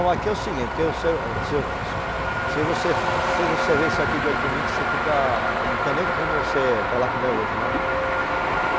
Aqui é o seguinte, porque você, você, se você, se você ver isso aqui dia de domingo, você fica, não tem nem como você falar como é hoje, não.